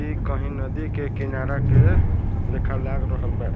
इ कही नदी के किनारा के लेखा लाग रहल बा।